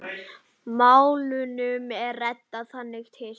Málunum er reddað þangað til.